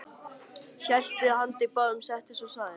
Hellti í handa báðum, settist og sagði: